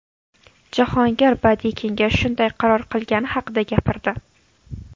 Jahongir badiiy kengash shunday qaror qilgani haqida gapirdi.